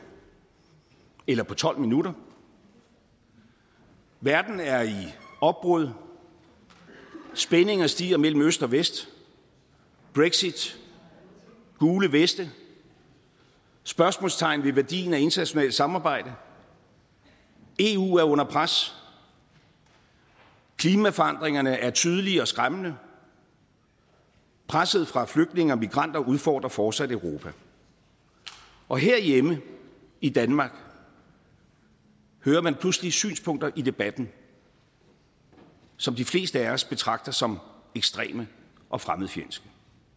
eller på tolv minutter verden er i opbrud spændinger stiger mellem øst og vest brexit gule veste spørgsmålstegn ved værdien af internationalt samarbejde eu er under pres klimaforandringerne er tydelige og skræmmende presset fra flygtninge og migranter udfordrer fortsat europa og herhjemme i danmark hører man pludselig synspunkter i debatten som de fleste af os betragter som ekstreme og fremmedfjendske